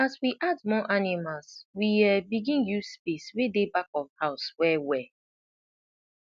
as we add more animals we um begin use space wey dey back of house wellwell